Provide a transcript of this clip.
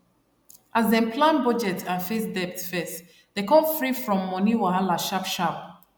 as dem plan budget and face debt first dem come free from money wahala sharp sharp